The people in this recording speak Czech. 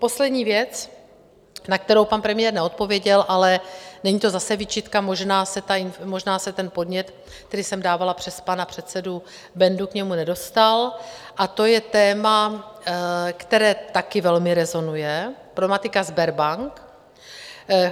Poslední věc, na kterou pan premiér neodpověděl - ale není to zase výčitka, možná se ten podnět, který jsem dávala přes pana předsedu Bendu, k němu nedostal - a to je téma, které taky velmi rezonuje: problematika Sberbank.